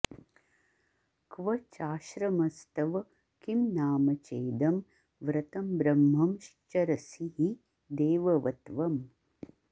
क्व चाश्रमस्तव किं नाम चेदं व्रतंब्रह्मंश्चरसि हि देववत्त्वम्